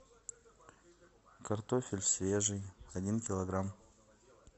картофель свежий один килограмм